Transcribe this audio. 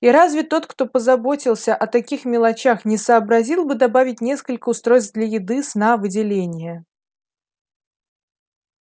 и разве тот кто позаботился о таких мелочах не сообразил бы добавить несколько устройств для еды сна выделения